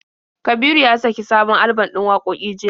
Kabiru ya saki sabon alban ɗin wakoki jiya.